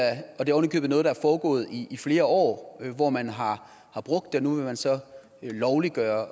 er oven i købet noget der er foregået i i flere år hvor man har brugt det og nu vil man så lovliggøre